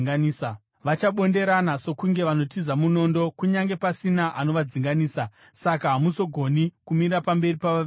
Vachabonderana sokunge vanotiza munondo, kunyange pasina anovadzinganisa. Saka hamuzogoni kumira pamberi pavavengi venyu.